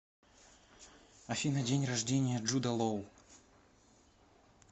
афина день рождения джуда лоу